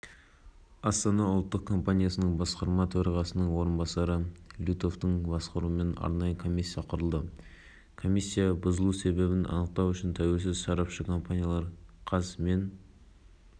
қараша күні және павильондарының арасындағы декоративтік конструкцияның құлағандығы белгілі құрылым тек декоративті болғандықтан ешқандай функционалдық қызметті